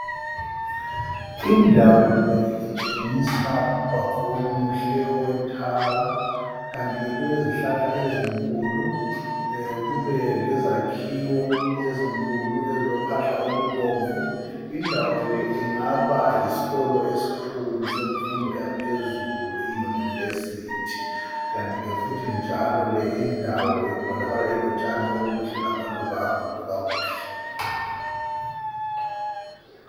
Indawo le itshengisa ungwaqo omuhle owethara, kanti ke kulezihlahla ezinkulu. E kube lezakhiwo ezinkulu ezilophahla olubomvu indawo le ingabayiskolo eskhulu semfundo yaphezulu iyunivesithi kanti ke futhi njalo le indawo ibonakala ilotshani obuhle lamaluba amahle agundwe kakuhle.